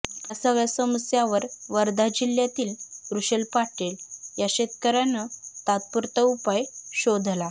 या सगळ्या समस्यांवर वर्धा जिल्ह्यातील वृषल पाटील या शेतकऱ्यानं तात्पुरता उपाय शोधला